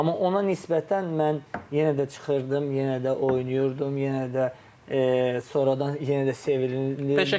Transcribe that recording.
Amma ona nisbətən mən yenə də çıxırdım, yenə də oynayırdım, yenə də sonradan yenə də sevilirdim.